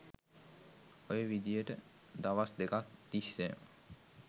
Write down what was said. ඔය විදියට දවස් දෙකක් තිස්සේම